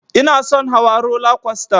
Inason hawa rola kwasta